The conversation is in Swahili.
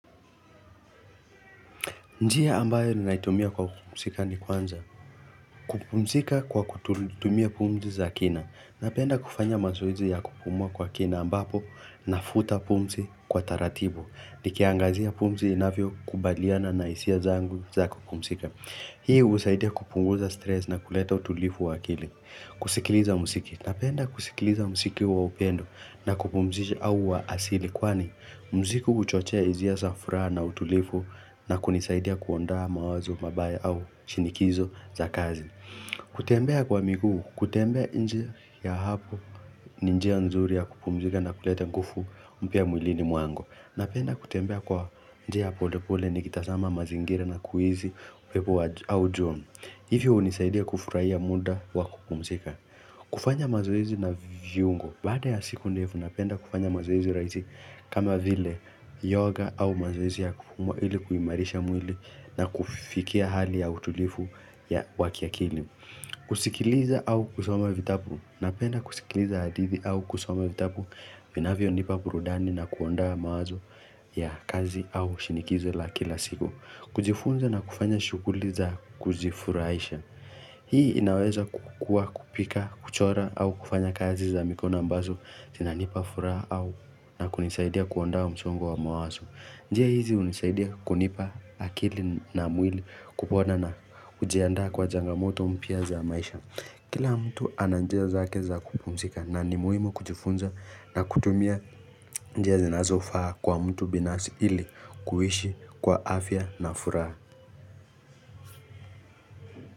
Njia ambayo ninaitumia kwa kupumzika ni kwanza, kupumzika kwa kutumia pumzi za kina, napenda kufanya mazoezi ya kupumua kwa kina ambapo nafuta pumzi kwa taratibu, nikiangazia pumzi inavyokubaliana na hisia zangu za kupumzika. Hii husaidia kupunguza stress na kuleta utulivu wa akili. Kusikiliza muziki. Napenda kusikiliza muziki wa upendo na kupumzisha au wa asili. Kwani, muziki huchochea hisia za furaha na utulivu na kunisaidia kuondoa mawazo, mabaya au shinikizo za kazi. Kutembea kwa miguu, kutembea nje ya hapo ni njia nzuri ya kupumzika na kuleta nguvu mpya mwilini mwangu. Napenda kutembea kwa njia ya pole pole nikitazama mazingira na kuihi upepo au jua. Hivyo hunisaidia kufurahia muda wa kupumzika. Kufanya mazoezi na viungo. Baada ya siku ndefu napenda kufanya mazoezi rahisi kama vile yoga au mazoezi ya kuumwa ili kuimarisha mwili na kufikia hali ya utulivu wa kiakili. Kusikiliza au kusoma vitabu. Napenda kusikiliza hadithi au kusoma vitabu. Vinavyonipa burudani na kuondoa mawazo ya kazi au shinikizo la kila siku. Kujifunza na kufanya shughuli za kujifurahisha. Hii inaweza kukua kupika, kuchora au kufanya kazi za mikono ambazo. Zinanipa furaha au na kunisaidia kuondoa msongo wa mawazo. Njia hizi hunisaidia kunipa akili na mwili kupona na hujiandaa kwa changamoto mpya za maisha. Kila mtu ana njia zake za kupumzika na ni muhimu kujifunza na kutumia njia zinazofaa kwa mtu binafsi ili kuishi kwa afya na furaha.